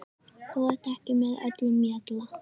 Þú ert ekki með öllum mjalla